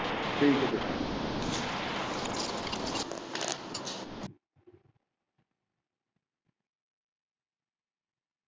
ਠੀਕ ਆ ਜੀ।